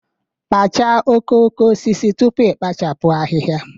Kpachaa okooko osisi tupu i kpochapụ ahihia